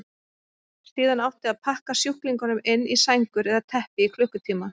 Síðan átti að pakka sjúklingunum inn í sængur eða teppi í klukkutíma.